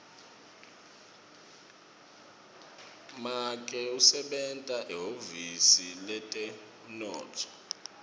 make usebenta ehhovisi letemnotfo